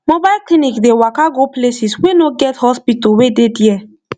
mobile clinic dey waka go places wey no get hospital wey dey there